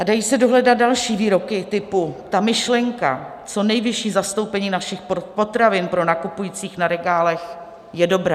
A dají se dohledat další výroky typu: Ta myšlenka co nejvyššího zastoupení našich potravin pro nakupující na regálech je dobrá.